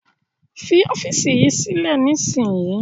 Fi ọ́fíísì yìí sílẹ̀ nísìnyí!